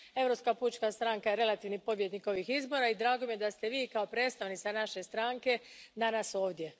Europska pučka stranka je relativni pobjednik ovih izbora i drago mi je da ste Vi, kao predstavnica naše stranke, danas ovdje.